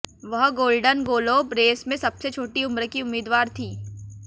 वह Golden Globe race में सबसे छोटी उम्र की उम्मीदवार थी